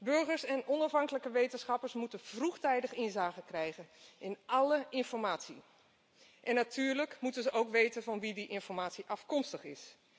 Burgers en onafhankelijke wetenschappers moeten vroegtijdig inzage krijgen in alle informatie en natuurlijk moeten ze ook weten van wie die informatie afkomstig